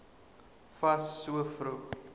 fas so vroeg